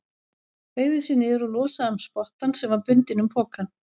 Beygði sig niður og losaði um spottann sem var bundinn um pokann.